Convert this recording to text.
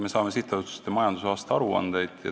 Me saame sihtasutuste majandusaasta aruandeid.